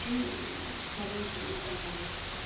и ээ свалил в другую компанию